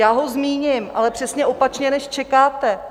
Já ho zmíním, ale přesně opačně, než čekáte.